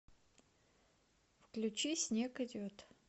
включи снег идет